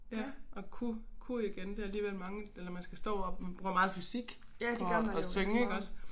Ja og kunne kunne igen det alligevel mange eller man skal stå op man bruger meget fysik på at at synge iggås